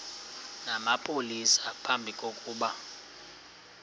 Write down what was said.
namapolisa phambi kokuba